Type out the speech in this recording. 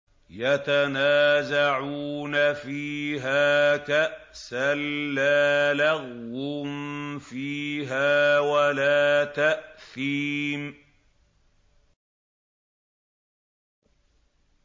يَتَنَازَعُونَ فِيهَا كَأْسًا لَّا لَغْوٌ فِيهَا وَلَا تَأْثِيمٌ